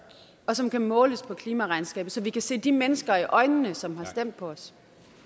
og som kan måles på klimaregnskabet så vi kan se de mennesker i øjnene som har stemt på os